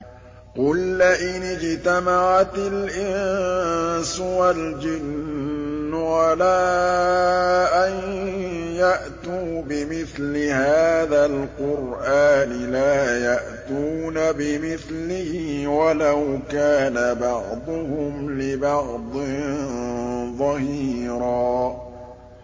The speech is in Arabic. قُل لَّئِنِ اجْتَمَعَتِ الْإِنسُ وَالْجِنُّ عَلَىٰ أَن يَأْتُوا بِمِثْلِ هَٰذَا الْقُرْآنِ لَا يَأْتُونَ بِمِثْلِهِ وَلَوْ كَانَ بَعْضُهُمْ لِبَعْضٍ ظَهِيرًا